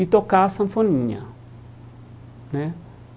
e tocar a sanfoninha né.